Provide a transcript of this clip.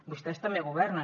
vostès també governen